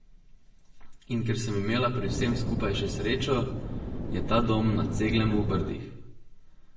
In ker sem imela pri vsem skupaj še srečo, je ta dom na Ceglem v Brdih.